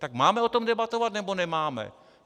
Tak máme o tom debatovat, nebo nemáme?